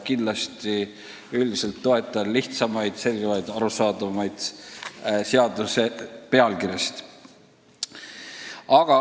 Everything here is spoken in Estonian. Üldiselt ma kindlasti toetan lihtsamaid, selgemaid, arusaadavamaid seaduste pealkirjasid.